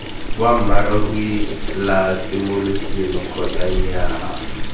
boammaaruri la semoseleme kgotsa nnyaa